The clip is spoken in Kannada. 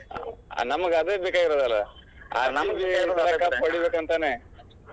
ನಮಗ್ ಅದ ಬೇಕಾಗಿರೋದಲಾ . cup ಹೊಡಿಬೇಕಂತಾನೇ.